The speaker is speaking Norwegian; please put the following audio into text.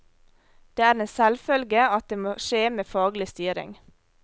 Det er en selvfølge at det må skje med faglig styring.